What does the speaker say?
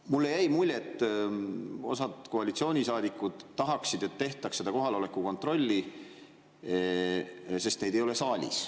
Mulle jäi mulje, et osad koalitsioonisaadikud tahaksid, et tehtaks kohaloleku kontrolli, sest neid ei ole saalis.